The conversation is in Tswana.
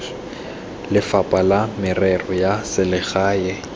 lefapha la merero ya selegae